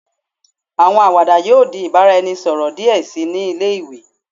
Awọn awada yoo di ibaraẹnisọrọ diẹ sii ni ile-iwe